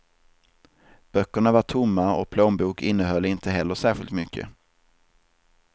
Böckerna var tomma och plånbok innehåll inte heller särskilt mycket.